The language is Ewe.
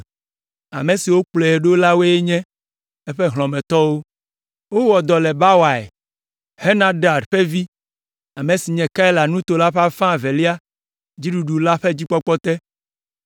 Ame siwo kplɔe ɖo la woe nye eƒe hlɔ̃metɔwo. Wowɔ dɔ le Bawai, Henadad ƒe vi, ame si nye Keila nuto la ƒe afã evelia dziɖula la ƒe dzikpɔkpɔ te.